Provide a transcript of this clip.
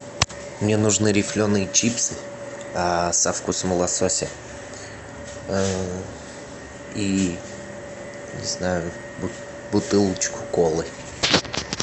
мне нужны рифленые чипсы со вкусом лосося и не знаю бутылочку колы